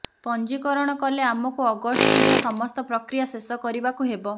ପଞ୍ଜୀକରଣ କଲେ ଆମକୁ ଅଗଷ୍ଟ ସୁଦ୍ଧା ସମସ୍ତ ପ୍ରକ୍ରିୟା ଶେଷ କରିବାକୁ ହେବ